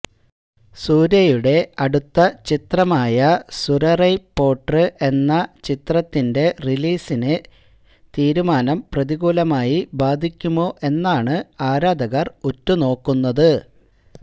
സൂര്യയുടെ അടുത്ത ചിത്രമായ സൂരറൈ പോട്ര് എന്ന ചിത്രത്തിന്റെ റിലീസിനെ തീരുമാനം പ്രതികൂലമായി ബാധിക്കുമോ എന്നാണ് ആരാധകർ ഉറ്റുനോക്കുന്നത്